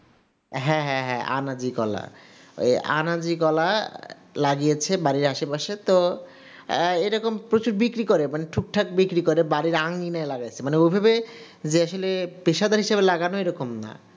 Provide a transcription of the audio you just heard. হ্যাঁ হ্যাঁ হ্যাঁ, আনাজি কলা ওই আনাজি কলা লাগিয়েছে বাড়ির আশেপাশে তো এরকম প্রচুর বিক্রি করে. মানে ঠিকঠাক কি করে বাড়ির আঙ্গনে লাগাইছে মানে ওভাবে যে আসলে পেশাদার হিসেবে লাগানো এরকম না,